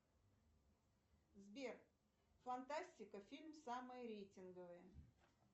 сбер фантастика фильм самые рейтинговые